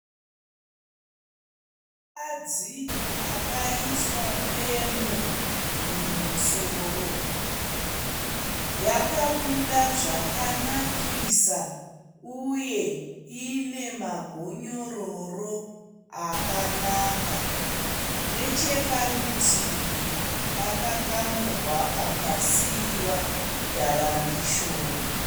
Mukadzi akaiswa pemu mumusoro. Yakabuda zvakanakisa uye ine magonyororo akanaka. Necheparutivi pakakamurwa pakasiiwa dharangishoni.